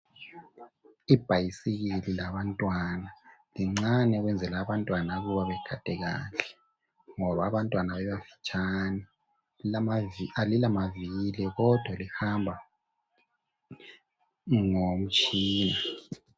Ibhayisikili labantwana lincane ukwenzela abantwana ukuba begade kahle ,ngoba abantwana bebafitshane Alilamavili, kodwa lihamba ngomtshina